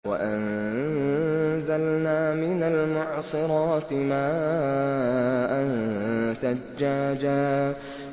وَأَنزَلْنَا مِنَ الْمُعْصِرَاتِ مَاءً ثَجَّاجًا